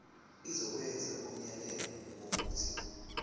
izokwenza umyalelo wokuthi